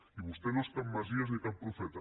i vostè no és cap messies ni cap profeta